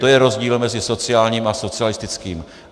To je rozdíl mezi sociálním a socialistickým.